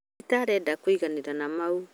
tita arenda kũiganira na mau